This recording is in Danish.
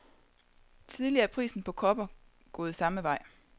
Tidligere er prisen på kobber gået samme vej.